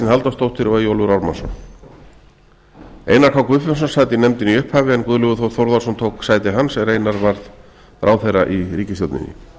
halldórsdóttir og eyjólfur ármannsson einar k guðfinnsson sat í nefndinni í upphafi en guðlaugur þór þórðarson tók sæti hans er einar varð ráðherra í ríkisstjórninni